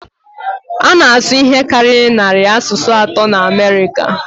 A na-asụ ihe karịrị narị asụsụ atọ na Amerịka